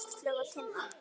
Áslaug og Tinna.